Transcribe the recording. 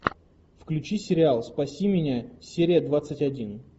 включи сериал спаси меня серия двадцать один